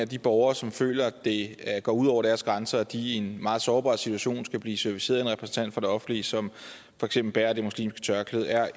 de borgere som føler at det går ud over deres grænse at de i en meget sårbar situation skal blive serviceret af en repræsentant for det offentlige som for eksempel bærer det muslimske tørklæde er